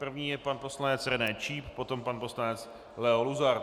První je pan poslanec René Číp, potom pan poslanec Leo Luzar.